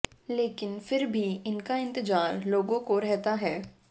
लेकिन फिर भी इनका इंतजार लोगों को रहता है